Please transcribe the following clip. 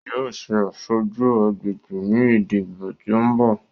Yóò ṣe aṣojú agbègbè ní ìdìbò tí ó ń bò.